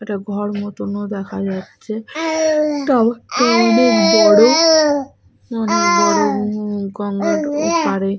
একটা ঘর মতন ও দেখা যাচ্ছে। টাওয়ার -টা অনেক বড় বড় গঙ্গার ওপাড়ে।